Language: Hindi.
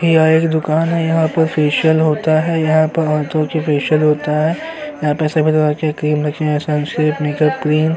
यह एक दुकान है। यहां पर फेशियल होता है। यहां पर औरतों का फेशियल होता है। यहां पर सभी प्रकार की क्रीम रखी है सनस्क्रीन मेकअप क्रीम --